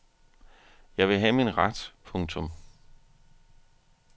Jeg vil have min ret. punktum